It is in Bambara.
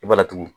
I b'a laturu